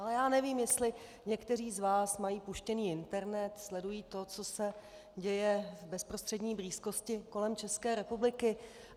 Ale já nevím, jestli někteří z vás mají puštěný internet, sledují to, co se děje v bezprostřední blízkosti kolem České republiky.